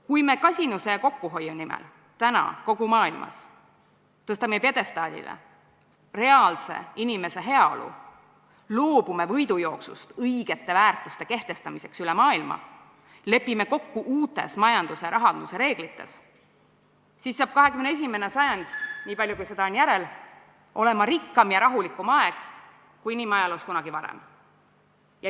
Kui me kasinuse ja kokkuhoiu nimel tõstame täna kogu maailmas pjedestaalile reaalse inimese heaolu, loobume võidujooksust õigete väärtuste kehtestamiseks üle maailma ning lepime kokku uutes majanduse ja rahanduse reeglites, siis saab 21. sajand, nii palju kui seda veel järel on, olema rikkam ja rahulikum aeg, kui inimajaloos kunagi varem on olnud.